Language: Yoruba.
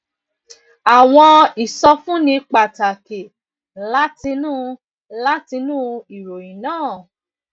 àwọn ìsọfúnni pàtàkì látinú látinú ìròyìn náà